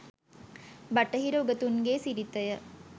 බටහිර උගතුන් ගේ සිරිත ය.